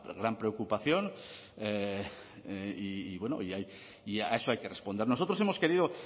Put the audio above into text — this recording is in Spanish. gran preocupación y a eso hay que responder nosotros hemos querido